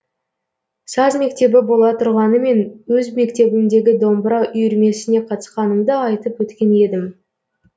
саз мектебі бола тұрғанымен өз мектебімдегі домбыра үйірмесіне қатысқанымды айтып өткен едім